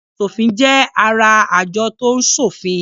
Aṣòfin jẹ́ ará àjọ tó ń ṣòfin.